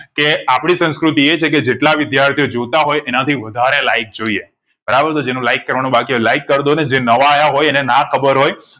કે આપડી સંસ્કૃતિ એ છેકે જેટલા વિધાયર્થીઓ જોતા હોય એનાથી વધારે like જોઈએ બરાબર તો જે નું like કરવા નું બાકી હોય તે like કર દો ને જેઇ નવા આવ્યા હોય અને ના ખબર હોય